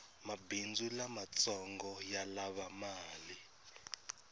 mabhindzu lamatsongo yalava mali